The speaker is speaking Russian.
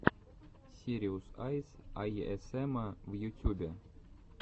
сириус айс эйэсэма в ютюбе